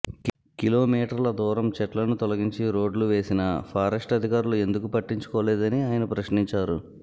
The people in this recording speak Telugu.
కిలో మీటర్ల దూరం చెట్లను తోలంగించి రోడ్డు వేసిన పారెస్టు అధికారులు ఎందుకు పట్టించుకోలేదని ఆయన ప్రశ్నించారు